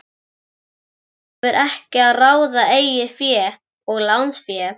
Félag hefur yfir að ráða eigið fé og lánsfé.